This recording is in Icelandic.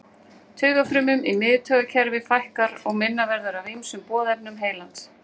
Taugafrumum í miðtaugakerfi fækkar og minna verður af ýmsum boðefnum heilans.